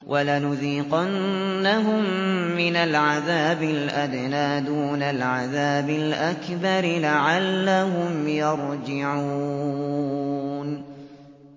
وَلَنُذِيقَنَّهُم مِّنَ الْعَذَابِ الْأَدْنَىٰ دُونَ الْعَذَابِ الْأَكْبَرِ لَعَلَّهُمْ يَرْجِعُونَ